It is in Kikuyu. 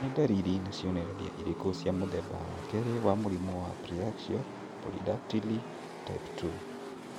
Nĩ ndariri na cionereria irĩkũ cia mũthemba wa kerĩ wa mũrimũ wa Preaxial polydactyly type 2?